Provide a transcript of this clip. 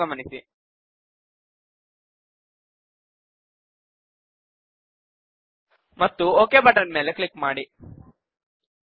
ಎಂಬುದನ್ನು ಗಮನಿಸಿ and click on the OK button